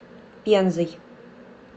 пензой